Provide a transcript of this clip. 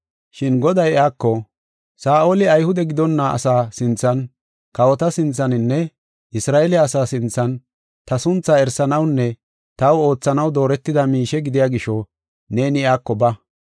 Shin Goday iyako, “Saa7oli Ayhude gidonna asaa sinthan, kawota sinthaninne Isra7eele asaa sinthan, ta sunthaa erisanawunne taw oothanaw dooretida miishe gidiya gisho neeni iyako ba.